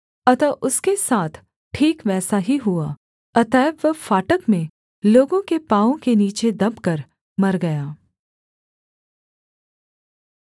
अतः उसके साथ ठीक वैसा ही हुआ अतएव वह फाटक में लोगों के पाँवों के नीचे दबकर मर गया